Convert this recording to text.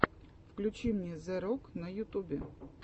включи мне зе рок на ютубе